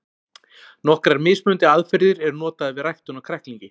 nokkrar mismunandi aðferðir eru notaðar við ræktun á kræklingi